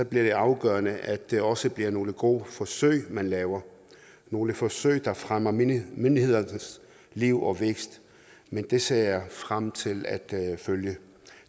det afgørende at det også bliver nogle gode forsøg man laver nogle forsøg der fremmer menighedernes liv og vækst det ser jeg frem til at følge